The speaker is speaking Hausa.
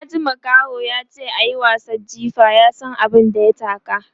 In ka ji makaho yace ayi wasan jifa, ya San abun da ya taka